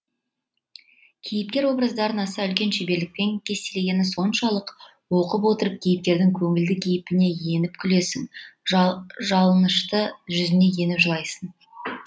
кейіпкер образдарын аса үлкен шеберлікпен кестелегені соншалық оқып отырып кейіпкердің көңілді кейпіне еніп күлесің жалынышты жүзіне еніп жылайсың